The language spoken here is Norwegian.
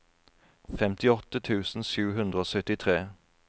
femtiåtte tusen sju hundre og syttitre